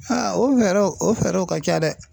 o fɛɛrɛw o fɛɛrɛw ka ca dɛ ,